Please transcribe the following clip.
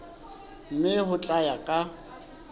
mme ho tla ya ka